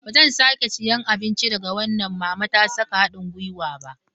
Ba zan sake siyan abinci daga wannan mama ta saka hadin gwiwa ba.